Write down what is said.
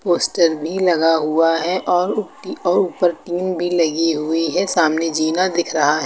poster भी लगा हुआ है और उ टी और ऊपर टीन भी लगी हुई है सामने जीना दिख रहा--